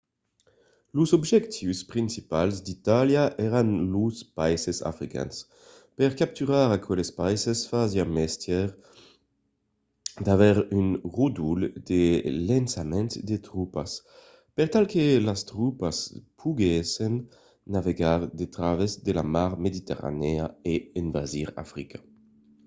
los objectius principals d’itàlia èran los païses africans. per capturar aqueles païses fasiá mestièr d’aver un ròdol de lançament de tropas per tal que las tropas poguèssen navegar a travèrs de la mar mediterranèa e envasir africa